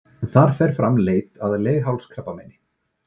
Þar fer fram leit að leghálskrabbameini.